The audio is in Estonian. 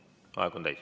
Aeg on täis.